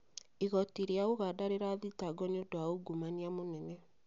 Igoti ria Uganda rirathitangwo niũndũ wa ungumania mũnene